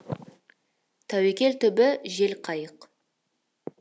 тәуекел түбі жел қайық